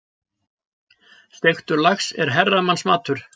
Steiktur lax er herramannsmatur.